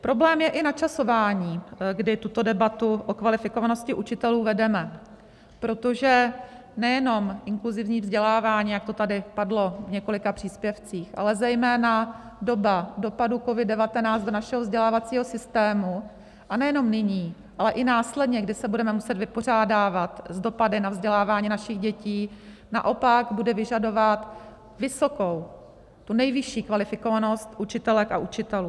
Problém je i načasování, kdy tuto debatu o kvalifikovanosti učitelů vedeme, protože nejenom inkluzivní vzdělávání, jak to tady padlo v několika příspěvcích, ale zejména doba dopadu COVID-19 do našeho vzdělávacího systému, a nejenom nyní, ale i následně, kdy se budeme muset vypořádávat s dopady na vzdělávání našich dětí, naopak bude vyžadovat vysokou, tu nejvyšší kvalifikovanost učitelek a učitelů.